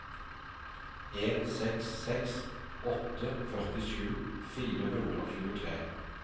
en seks seks åtte førtisju fire hundre og tjuetre